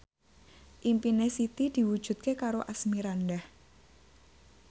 impine Siti diwujudke karo Asmirandah